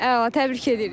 Əla, təbrik edirik.